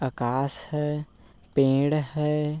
आकाश है पेड़ है।